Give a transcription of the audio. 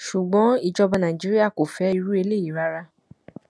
ṣùgbọn ìjọba nàìjíríà kò fẹ irú eléyìí rárá